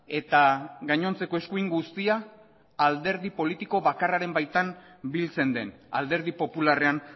eta gainontzeko eskuin guztia alderdi politiko bakarraren baitan biltzen den alderdi popularrean